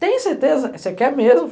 Tenho certeza, você quer mesmo?